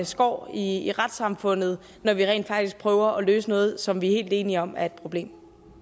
skår i i retssamfundet når vi rent faktisk prøver at løse noget som vi er helt enige om er et problem